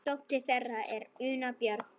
Dóttir þeirra er Una Björg.